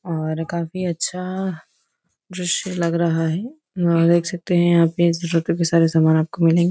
और काफी अच्छा दृश्य लग रहा है और देख सकते है यहाँ पे जरूरतों के सारे सामान आपको मिलेंगे।